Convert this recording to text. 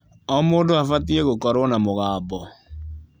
O mũndũ abatie gũkorwo na mũgambo.